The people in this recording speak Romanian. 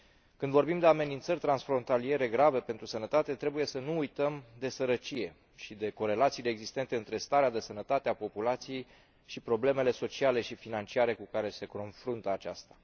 Când vorbim de amenințări transfrontaliere grave pentru sănătate trebuie să nu uităm de sărăcie și de corelațiile existente între starea de sănătate a populației și problemele sociale și financiare cu care se confruntă aceasta.